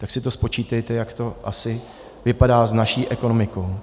Tak si to spočítejte, jak to asi vypadá s naší ekonomikou.